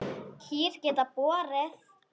Kýr geta borið